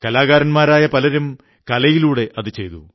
കലാകാരന്മാരായ പലരും കലയിലൂടെ ചെയ്തു